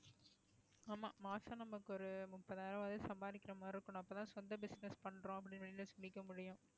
ஆமா மாசம் நமக்கு ஒரு முப்பதாயிரம் வரை சம்பாதிக்கிற மாதிரி இருக்கணும் அப்பதான் சொந்த business பண்றோம் அப்படின்னு வெளில சொல்லிக்க முடியும்